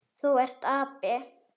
Þú ert api.